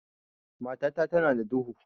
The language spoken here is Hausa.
Matata tana da duhu.